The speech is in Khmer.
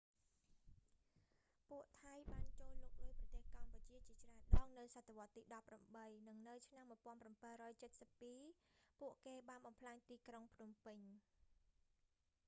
ពួកថៃបានចូលលុកលុយប្រទេសកម្ពុជាជាច្រើនដងនៅសតវត្សទី 18 និងនៅឆ្នាំ 1772 ពួកគេបានបំផ្លាញទីក្រុងភ្នំពេញ